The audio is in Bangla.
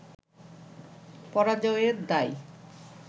পরাজয়ের দায়